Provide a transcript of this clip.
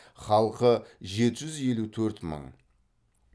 халқы жеті жүз елу төрт мың